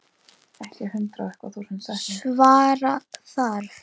Svara þarf.